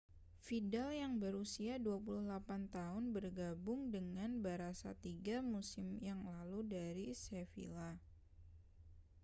vidal yang berusia 28 tahun bergabung dengan barã§a tiga musim yang lalu dari sevilla